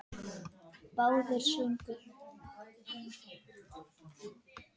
Kista var borin í kirkju.